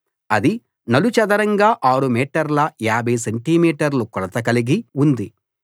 అది నలు చదరంగాఆరు మీటర్ల 50 సెంటి మీటర్లు కొలత కలిగి ఉంది